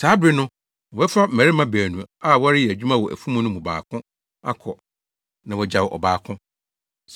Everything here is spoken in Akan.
Saa bere no, wɔbɛfa mmarima baanu a wɔreyɛ adwuma wɔ afum no mu baako akɔ, na wɔagyaw ɔbaako.